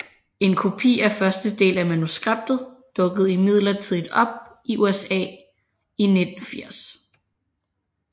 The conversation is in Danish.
En kopi af første del af manuskriptet dukkede imidlertid op i USA i 1980